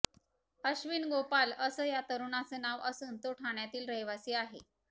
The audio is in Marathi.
अश्विन गोपाल असं या तरुणाचं नाव असून तो ठाण्यातील रहिवासी आहे